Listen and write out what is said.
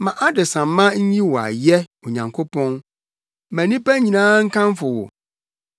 Ma adesamma nyi wo ayɛ, Onyankopɔn; ma nnipa nyinaa nkamfo wo.